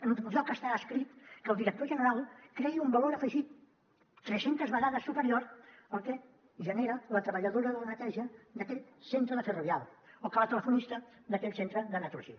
enlloc està escrit que el director general creï un valor afegit tres centes vegades superior al que genera la treballadora de la neteja d’aquell centre de ferrovial o que la telefonista d’aquell centre de naturgy